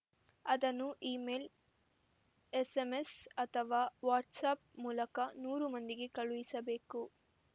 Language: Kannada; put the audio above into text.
ಅದನ್ನು ಇಮೇಲ್‌ ಎಸ್‌ಎಂಎಸ್‌ ಅಥವಾ ವಾಟ್ಸ್‌ಆ್ಯಪ್‌ ಮೂಲಕ ನೂರು ಮಂದಿಗೆ ಕಳುಹಿಸಬೇಕು